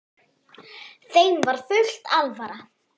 Þeim var full alvara.